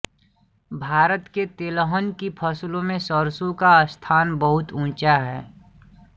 भारत के तेलहन की फसलों में सरसों का स्थान बहुत ऊँचा है